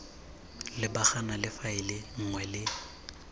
lebagana le faele nngwe le